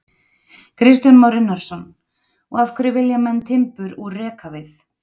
Kristján Már Unnarsson: Og af hverju vilja menn timbur úr rekavið?